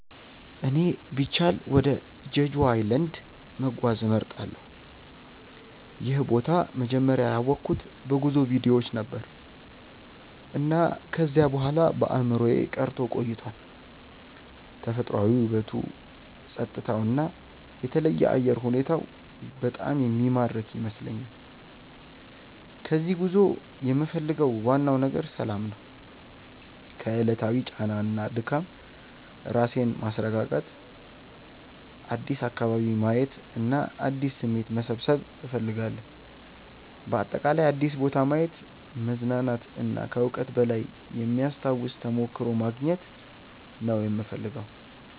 እኔ ቢቻል ወደ ጀጁ ኣይላንድ(Jeju Island) መጓዝ እመርጣለሁ። ይህን ቦታ መጀመሪያ ያወቅሁት በጉዞ ቪዲዮዎች ነበር፣ እና ከዚያ በኋላ በአእምሮዬ ቀርቶ ቆይቷል። ተፈጥሯዊ ውበቱ፣ ጸጥታው እና የተለየ አየር ሁኔታው በጣም የሚማርክ ይመስለኛል። ከዚህ ጉዞ የምፈልገው ዋናው ነገር ሰላም ነው። ከዕለታዊ ጫና እና ድካም ራሴን ማስረጋጋት፣ አዲስ አካባቢ ማየት እና አዲስ ስሜት መሰብሰብ እፈልጋለሁ። በአጠቃላይ አዲስ ቦታ ማየት፣ መዝናናት እና ከዕውቀት በላይ የሚያስታውስ ተሞክሮ ማግኘት ነው የምፈልገው።